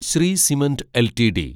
Shri cement LTD